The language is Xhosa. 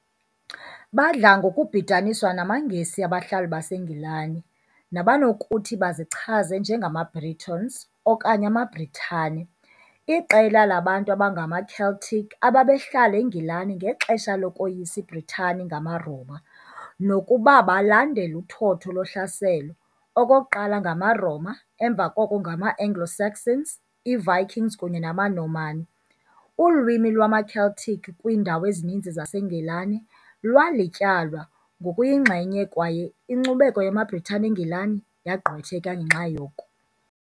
Badla ngokubhidaniswa namaNgesi, abahlali baseNgilani , nabanokuthi bazichaze "njengamaBritons", okanye amaBritane, iqela labantu abangamaCeltic ababehlala eNgilani ngexesha lokoyisa iBritani ngamaRoma, nokuba balandela uthotho lohlaselo, okokuqala ngamaRoma, emva koko ngama- Anglo-Saxons, iiVikings kunye namaNorman, ulwimi lwamaCeltic kwiindawo ezininzi zaseNgilani lwalityalwa ngokuyinxenye kwaye inkcubeko yamaBritane eNgilani yagqwetheka ngenxa yoko.